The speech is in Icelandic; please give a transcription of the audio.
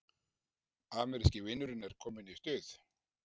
Ameríski vinurinn er kominn í stuð